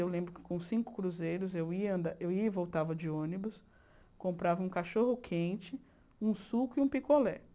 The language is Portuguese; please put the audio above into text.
Eu lembro que com cinco cruzeiros eu ia anda eu ia e voltava de ônibus, comprava um cachorro quente, um suco e um picolé.